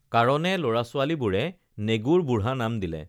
কাৰণে লৰাছোৱালীবোৰে নেগুৰ বুঢ়া নাম দিলে